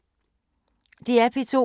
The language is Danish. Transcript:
DR P2